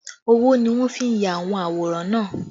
Ọwọ́ ni wọ́n fi ya àwọn àwòrán náà